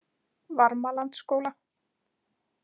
Varmalandsskóla